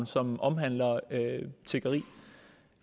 som omhandler tiggeri